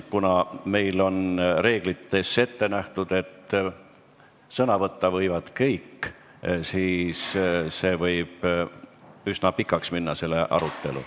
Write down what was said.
Kuna meil on reeglites ette nähtud, et sõna võtta võivad kõik, siis see arutelu võib üsna pikaks minna.